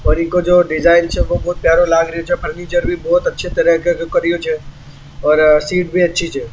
और इनको जो डिज़ाइन छे बहुत प्यारो लागरे छे फर्नीचर भी बहुत अच्छी तरह के करियो छे और सीट भी अच्छी स।